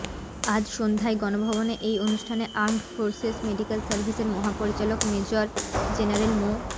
আজ সন্ধ্যায় গণভবনে এই অনুষ্ঠানে আর্মড ফোর্সেস মেডিকেল সার্ভিসের মহাপরিচালক মেজর জেনারেল মো